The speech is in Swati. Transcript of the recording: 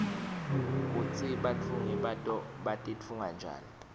kutsi batfungi bato batitfunga njani